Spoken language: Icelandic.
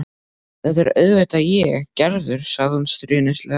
Þetta er auðvitað ég, Gerður, sagði hún stríðnislega.